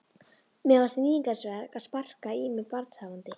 Mér fannst níðingsverk að sparka í mig barnshafandi.